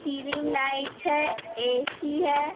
Lights है AC. है।